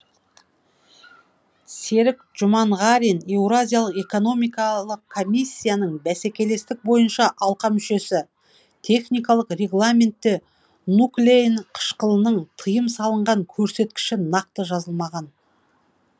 серік жұманғарин еуразиялық экономикалық комиссияның бәсекелестік бойынша алқа мүшесі техникалық регламентте нуклеин қышқылының тыйым салынған көрсеткіші нақты жазылмаған